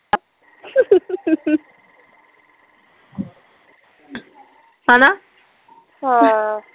ਹੈਨਾ ਹਾਂ